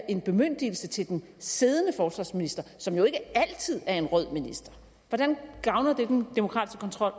en bemyndigelse til den siddende forsvarsminister som jo ikke altid er en rød minister hvordan gavner det den demokratiske kontrol